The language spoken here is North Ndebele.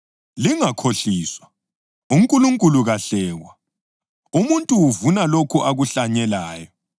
Lingakhohliswa: UNkulunkulu kahlekwa. Umuntu uvuna lokho akuhlanyelayo.